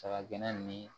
Saga gɛnna ni